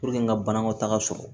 n ka banakɔtaga sɔrɔ